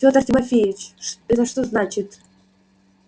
фёдор тимофеич это что значит